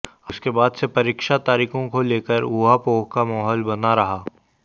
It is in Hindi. उसके बाद से परीक्षा तारीखों को लेकर उहापोह का माहौल बना रहा